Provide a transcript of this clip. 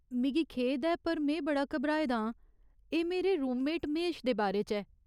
मिगी खेद ऐ पर में बड़ा घबराए दा आं, एह् मेरे रूममेट महेश दे बारे च ऐ।